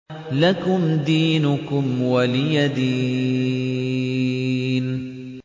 لَكُمْ دِينُكُمْ وَلِيَ دِينِ